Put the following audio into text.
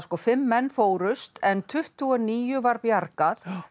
fimm menn fórust en tuttugu og níu var bjargað